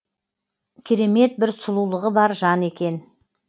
керемет бір сұлулығы бар жан екен